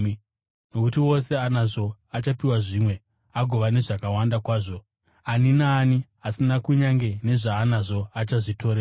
Nokuti wose anazvo achapiwa zvimwe, agova nezvakawanda kwazvo. Ani naani asina, kunyange nezvaanazvo achazvitorerwa.